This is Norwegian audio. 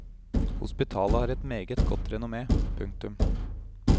Hospitalet har et meget godt renommé. punktum